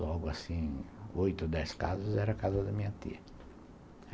Logo assim, oito ou dez casas, era a casa da minha tia.